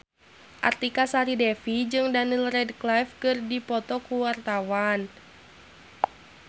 Artika Sari Devi jeung Daniel Radcliffe keur dipoto ku wartawan